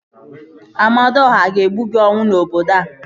Amadiọha ga-egbu gị ọnwụ n'obodo a